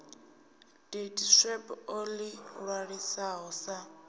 deedsweb o ḓi ṅwalisaho sa